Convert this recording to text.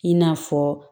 I n'a fɔ